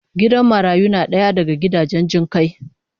Gidan marayu na daya daga gidajen jin kai